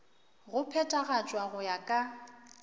go phethagatšwa go ya ka